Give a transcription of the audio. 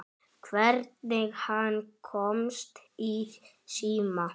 Hvernig hann komst í síma.